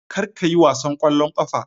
Kar ka yi wasan ƙwallon ƙafa.